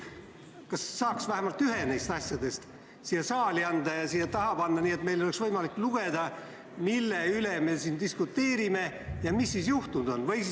Kas keegi saaks vähemalt ühe neist asjadest siia saali tuua, et meil oleks võimalik lugeda, mille üle me siin diskuteerime ja mis siis juhtunud on?